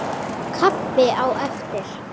Kaffi á eftir.